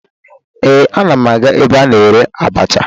Ee, ana m aga ebe a na-ere abacha